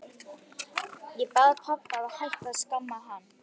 Ég bað pabba að hætta að skamma hann.